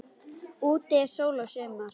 Úti er sól og sumar.